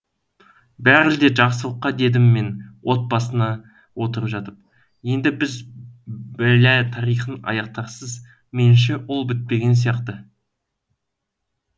бәрі де жақсылыққа дедім мен от басына отырып жатып енді сіз бэла тарихын аяқтарсыз меніңше ол бітпеген сияқты